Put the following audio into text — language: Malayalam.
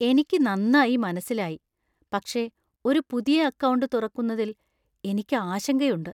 എനിക്ക് നന്നായി മനസ്സിലായി. പക്ഷെ, ഒരു പുതിയ അക്കൌണ്ട് തുറക്കുന്നതില്‍ എനിക്കു ആശങ്കയുണ്ട്.